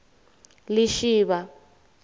lishivha